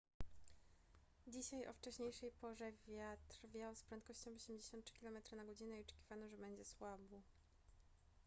dzisiaj o wcześniejszej porze wiatr wiał z prędkością 83 km/godz. i oczekiwano że będzie słabł